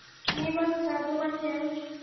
मी मस्त तू कशी आहे.